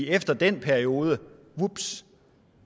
efter den periode vups